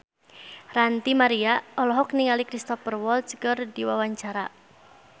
Ranty Maria olohok ningali Cristhoper Waltz keur diwawancara